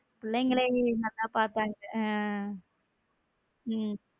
பிள்ளைகளே என்னத்த பாத்தாங் ஹம் உம்